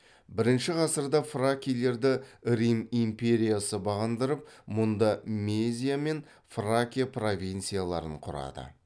бірінші ғасырда фракийлерді рим империясы бағындырып мұнда мезия мен фракия провинцияларын құрады